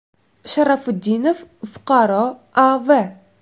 Sharafutdinov fuqaro A.V.